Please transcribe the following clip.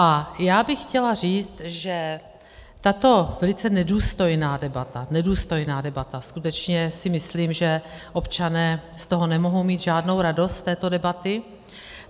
A já bych chtěla říct, že tato velice nedůstojná debata - nedůstojná debata, skutečně si myslím, že občané z toho nemohou mít žádnou radost, z této debaty.